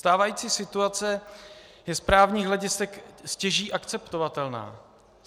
Stávající situace je z právních hledisek stěží akceptovatelná.